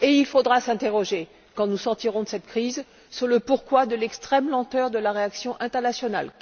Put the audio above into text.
Il faudra s'interroger, quand nous sortirons de cette crise, sur le pourquoi de l'extrême lenteur de la réaction internationale.